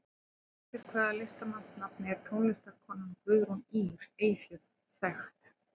Undir hvaða listamannsnafni er tónlistarkonan Guðrún Ýr Eyfjörð þekkt?